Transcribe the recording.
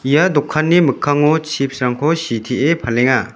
ia dokanni mikkango chips-rangko sitee palenga.